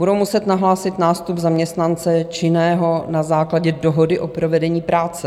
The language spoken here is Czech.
Budou muset nahlásit nástup zaměstnance činného na základě dohody o provedení práce.